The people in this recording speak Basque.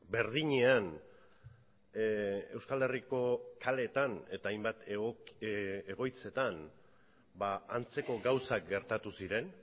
berdinean euskal herriko kaleetan eta hainbat egoitzetan antzeko gauzak gertatu ziren